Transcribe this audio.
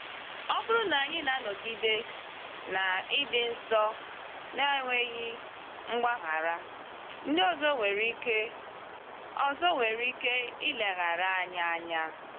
Ọ bụrụ na anyị na-anọgide na ịdị nsọ n’enweghị mgbaghara, ndị ọzọ nwere ike ọzọ nwere ike ileghara anyị anya.